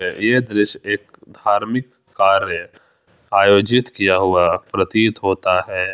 यह दृश्य एक धार्मिक कार्य आयोजित किया हुआ प्रतीत होता है।